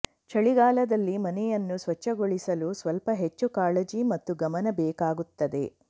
ಚಳಿಗಾಲದಲ್ಲಿ ಮನೆಯನ್ನು ಸ್ವಚ್ಛಗೊಳಿಸಲು ಸ್ವಲ್ಪ ಹೆಚ್ಚು ಕಾಳಜಿ ಮತ್ತು ಗಮನ ಬೇಕಾಗುತ್ತದೆ